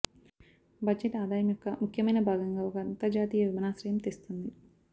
budget ఆదాయం యొక్క ముఖ్యమైన భాగంగా ఒక అంతర్జాతీయ విమానాశ్రయం తెస్తుంది